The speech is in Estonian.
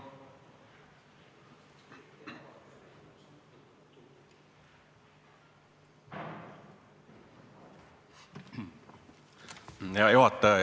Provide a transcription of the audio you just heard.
Hea juhataja!